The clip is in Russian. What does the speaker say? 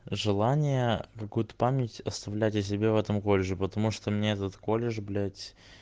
желание какую-то память оставлять о себе в этом колледже потому что мне этот колледж блять